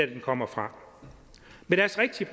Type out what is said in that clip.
det kommer fra med deres rigtige